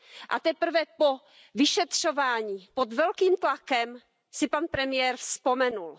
A teprve po vyšetřování, pod velkým tlakem si pan premiér vzpomenul.